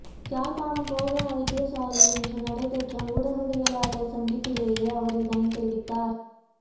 யாழ்ப்பாணம் போதனா வைத்தியசாலையில் இன்று நடைபெற்ற ஊடகவியலாளர் சந்திப்பிலேயே அவர் இதனை தெரிவித்தார்